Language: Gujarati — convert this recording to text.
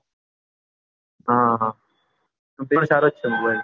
હા એ પણ સારો છે mobile